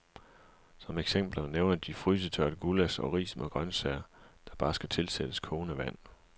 Som eksempler nævner de frysetørret gullasch og ris med grøntsager, der bare skal tilsættes kogende vand.